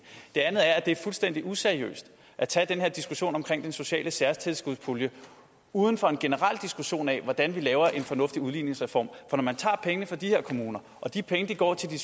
det andet er at det er fuldstændig useriøst at tage den her diskussion om den sociale særtilskudspulje uden for en generel diskussion af hvordan vi laver en fornuftig udligningsreform for når man tager pengene fra de her kommuner og de penge går til de